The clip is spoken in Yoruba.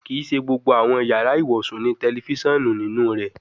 Kii ṣe gbogbo awọn yara iwosun ni tẹlifisiọnu ninu rẹ